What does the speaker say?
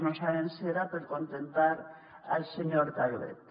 no sabem si era per acontentar el senyor calvet